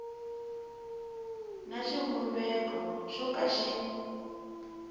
na xivumbeko xo ka xi